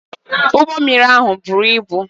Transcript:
Ụgbọ mmiri ahụ buru ibu